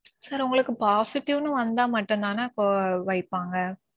sir. உங்களுக்கு positive னு வந்தா மட்டும்தானே இப்போ வைப்பாங்க.